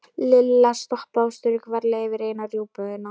Lilla stoppaði og strauk varlega yfir eina rjúpuna.